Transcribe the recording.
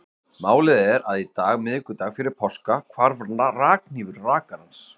Málið er að í dag, miðvikudag fyrir páska, hvarf rakhnífur rakarans.